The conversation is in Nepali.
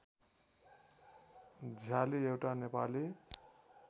झ्याली एउटा नेपाली